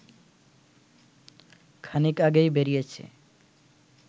খানিক আগেই বেরিয়েছে